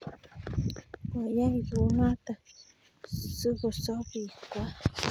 koyaii kunoto sokosob bik kwai